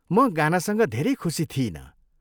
म गानासँग धेरै खुसी थिइनँ।